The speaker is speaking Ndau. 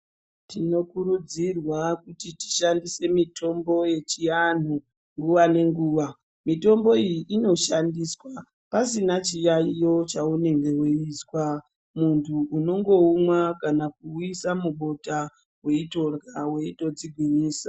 Tino kurudzirwa kuti tishandise mitombo yechianhu nguva nenguva mitombo iyi inoshandiswa pasina chiyaiyo chaunenge weizwa muntu uno ngoumwa kana kuuisa mubota weindorya weito dzigwinyisa.